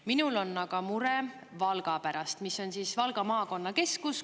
Minul on aga mure Valga pärast, mis on Valga maakonna keskus.